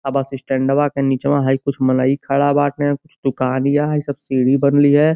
अ bus स्टैंडवा के नीचवा हई कुछ मनई खड़ा बाटें। कुछ दुकानइया है। सब सीढ़ी बनली है।